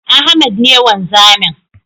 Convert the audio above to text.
Ahmed ne wanzamin